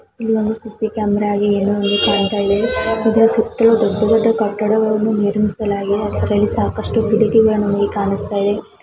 ಇಲ್ಲಿ ಒಂದುಸಿ C camera ಗೆ ಏನೋ ಒಂದು ಕಾಣ್ತಾ ಇದೆ ಇಲ್ಲಿ ಸುತ್ತಲೂ ದೊಡ್ಡ ದೊಡ್ಡ ಕಟ್ಟಡವನ್ನು ನಿರ್ಮಿಸಲಾಗಿದೆ.ಅದರಲ್ಲಸಾಕಷ್ಟು ಕಿಡಕಿಗಳು ಕಾಣಿಸ್ತಾಯಿವೆ .